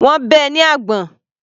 Wọ́n bẹ́ ẹ ní àgbọ̀n.